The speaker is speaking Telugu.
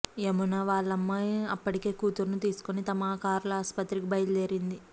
యమున వాళ్లమ్మ అప్పటికే కూతురును తీసుకుని తమ కార్లో ఆస్పత్రికి బయల్దేరింది